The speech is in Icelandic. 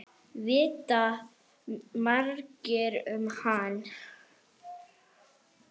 Vita margir um hann?